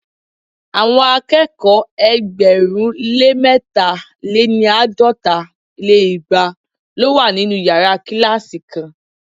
Àwọn akẹ́kọ̀ọ́ ẹgbẹ̀rún lé mẹ̀ta- lé ní àádọ́ta lé igba lo wa ninu yara kilasi kan